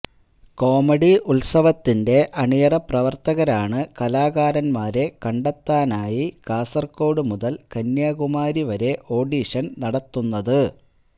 comedy ഉത്സവത്തിന്റെ അണിയറ പ്രവര്ത്തകരാണ് കലാകാരന്മാരെ കണ്ടെത്താനായി കാസര്കോട് മുതല് കന്യാകുമാരിവരെ ഓഡീഷന് നടത്തുന്നത്